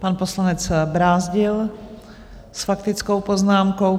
Pan poslanec Brázdil s faktickou poznámkou.